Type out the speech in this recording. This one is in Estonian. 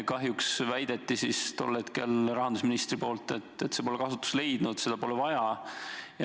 Kahjuks väitis rahandusminister, et see pole kasutust leidnud, seda pole vaja.